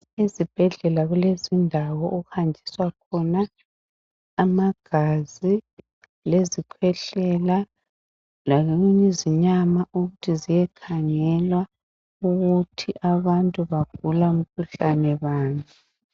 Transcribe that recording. Ezibhedlela kulezindawo okuhanjiswa khona amagazi ,lezikhwehlela ,lokunye izinyama ukuthi ziyekhangelwa ukuthi abantu bagula mkhuhlane bani.